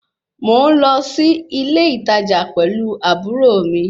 Mò ń lọ sí ilé ìtajà pẹ̀lú àbúrò mi